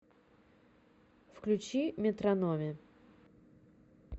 включи метрономи